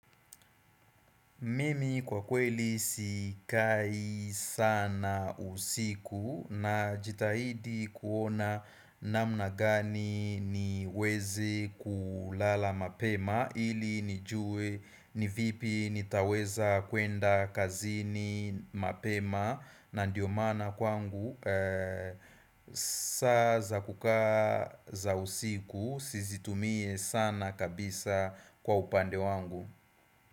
Mimi kwa kweli sikai sana usiku najitahidi kuona namna gani ni mweze kulala mapema ili nijue ni vipi nitaweza kwenda kazini mapema na ndiyo maana kwangu saa za kukaa usiku sizitumie sana kabisa kwa upande wangu.